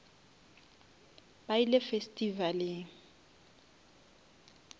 ba ile festivaleng